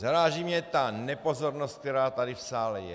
Zaráží mě ta nepozornost, která tady v sále je.